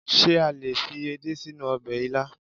Ṣé a lè fi edé sínú ọbẹ̀ ilá?